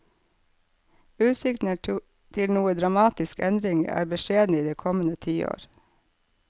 Utsiktene til noen dramatisk endring er beskjedne i det kommende tiår.